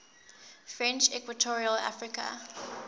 french equatorial africa